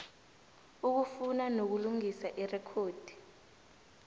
ukufuna nokulungisa irekhodi